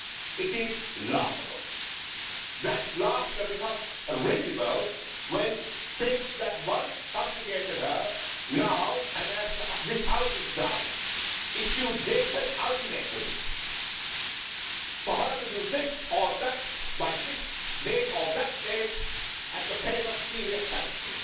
It is laughable. That laughter becomes risible when states that once subjugated her now and as this House has done issue dated ultimatums for her to do this or that, by this date or that date, on pain of serious sanctions.